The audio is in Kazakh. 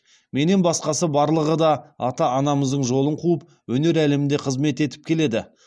менен басқасы барлығы да ата анамыздың жолын қуып өнер әлемінде қызмет етіп келеді